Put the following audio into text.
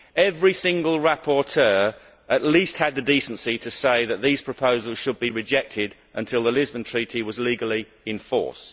Every single rapporteur at least had the decency to say that these proposals should be rejected until the Lisbon Treaty was legally in force.